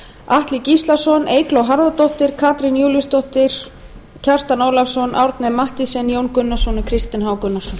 atli gíslason eygló harðardóttir katrín júlíusdóttir kjartan ólafsson árni m mathiesen jón gunnarsson og kristinn h gunnarsson